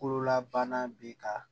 Bololabana bɛ ka